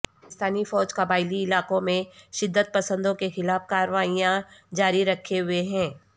پاکستانی فوج قبائلی علاقوں میں شدت پسندوں کے خلاف کارروائیاں جاری رکھے ہوئے ہے